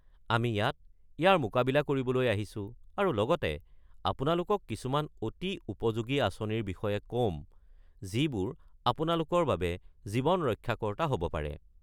আমি ইয়াত ইয়াৰ মোকাবিলা কৰিবলৈ আহিছোঁ আৰু লগতে আপোনালোকক কিছুমান অতি উপযোগী আঁচনিৰ বিষয়ে ক'ম যিবোৰ আপোনালোকৰ বাবে জীৱন ৰক্ষাকৰ্তা হ'ব পাৰে।